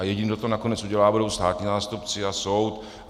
A jediný, kdo to nakonec udělá, budou státní zástupci a soud.